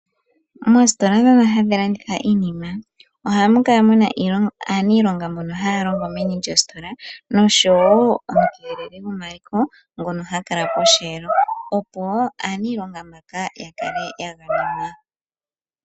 Moositola ndhono hadhi landitha iinima ohamu kala muna aanilonga mbono haya longo meni lyositola nomukeleli gomaliko ngono hakala koshelo opo aanilonga mbaka yakale yagamenwa.